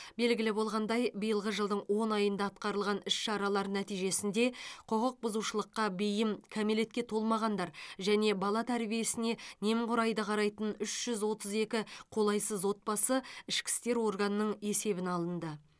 белгілі болғандай биылғы жылдың он айында атқарылған іс шаралар нәтижесінде құқық бұзушылыққа бейім кәмелетке толмағандар және бала тәрбиесіне немқұрайды қарайтын үш жүз отыз екі қолайсыз отбасы ішкі істер органының есебіне алынды